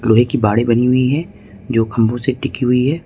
लोहे की बाड़े बनी हुई हैं जो खंभों से टिकी हुई है।